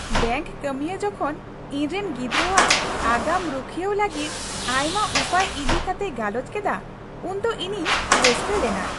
Bank ᱠᱟᱹᱢᱤᱭᱟᱹ ᱡᱚᱠᱷᱚᱱ ᱤᱧᱨᱮᱱ ᱜᱤᱫᱽᱨᱟᱹᱣᱟᱜ ᱟᱜᱟᱢ ᱨᱩᱠᱷᱤᱭᱟᱹᱣ ᱞᱟᱹᱜᱤᱫ ᱟᱭᱢᱟ ᱩᱯᱟᱹᱭ ᱤᱫᱤ ᱠᱟᱛᱮᱭ ᱜᱟᱞᱚᱪ ᱠᱮᱫᱟ ᱩᱱᱫᱚ ᱤᱧᱤᱧ ᱨᱟᱹᱥᱠᱟᱹ ᱞᱮᱱᱟ ᱾